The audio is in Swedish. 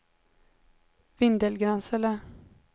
Vindelgransele